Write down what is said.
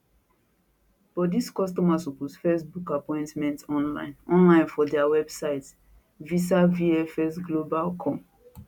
but di customer suppose first book appointment online online for dia website visavfsglobalcom